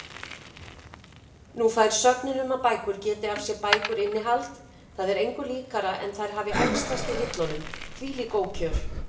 Og nú fær sögnin um að bækur geti af sér bækur innihald, það er engu líkara en þær hafi æxlast í hillunum, þvílík ókjör.